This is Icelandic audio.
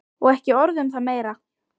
Og ekki orð um það meira!